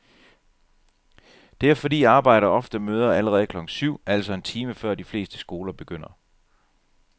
Det er fordi arbejdere ofte møder allerede klokken syv, altså en time før de fleste skoler begynder.